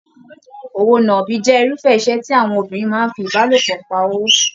Òwò náàbi jẹ irufẹ iṣẹ tí àwọn obìnrin máa n fí ìbálòpọ̀ pá owó.